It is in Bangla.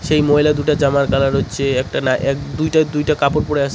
সেই মহিলা দুটার জামার কালার হচ্ছে একটা না এক দুইটা দুইটা কাপড় পরে আসে --